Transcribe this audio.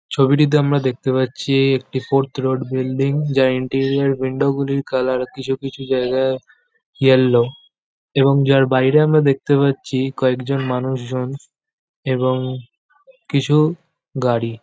ছবিটিতে আমরা দেখতে পাচ্ছি একটি ফোর্থ রোড বিল্ডিং যার এন্ট্রিয়াল উইন্ডো গুলির কালার কিছু কিছু জায়গায় ইয়ালো এবং যার বাইরে আমরা দেখতে পাচ্ছি কয়েকজন মানুষজন এবং কিছু গাড়ি।